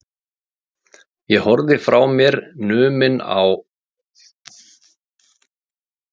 Ég horfði frá mér numinn á þennan magnaða hljómkassa.